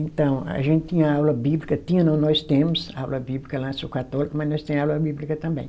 Então, a gente tinha aula bíblica, tinha não, nós temos aula bíblica lá, eu sou católica, mas nós temos aula bíblica também.